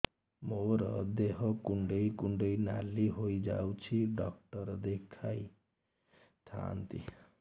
ମୋର ଦେହ କୁଣ୍ଡେଇ କୁଣ୍ଡେଇ ନାଲି ହୋଇଯାଉଛି ଡକ୍ଟର ଦେଖାଇ ଥାଆନ୍ତି